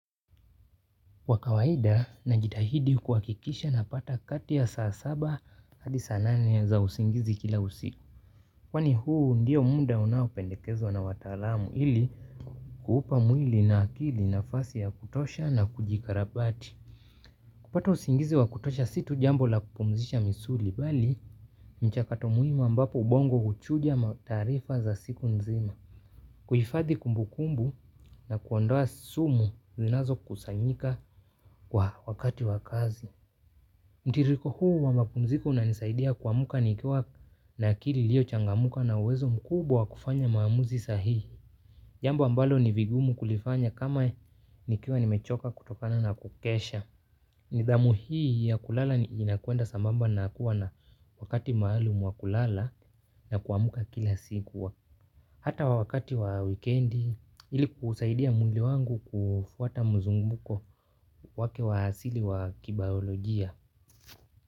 Kwa kawaida na jitahidi kuhakikisha na pata kati ya saa saba hadi saa nane za usingizi kila usiku. Kwani huu ndiyo muda unaopendekezwa na wataalamu ili kuupa mwili na akili nafasi ya kutosha na kujikarabati. Kupata usingizi wa kutosha situ jambo la kupumzisha misuli bali mchakato muhimu ambapo ubongo uchuja mataarifa za siku nzima. Kuhifadhi kumbu kumbu na kuondoa sumu zinazo kusanyika kwa wakati wakazi. Mtiririko huu wa mapumziko unanisaidia kuamuka nikiwa na akili ilio changamka na uwezo mkubwa wa kufanya maamuzi sahihi jambo ambalo ni vigumu kulifanya kama nikiwa nimechoka kutokana na kukesha. Nidhamu hii ya kulala inakwenda sambamba na kuwa na wakati maalum wa kulala na kuamka kila siku hata wakati wa wikendi ili kuusaidia mwili wangu kufuata mzunguko wake wa asili wa kibayolojia.